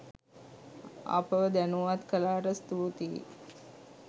අපව දැනුවත් කලාට ස්තුතියි.